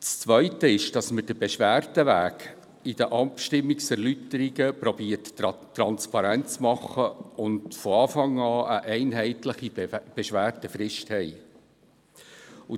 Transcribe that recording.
Das Zweite ist, dass wir den Beschwerdeweg bei den Abstimmungserläuterungen transparent zu machen versuchen und von Anfang an eine einheitliche Beschwerdefrist haben.